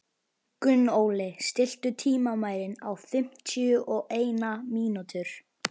Gunnóli, stilltu tímamælinn á fimmtíu og eina mínútur.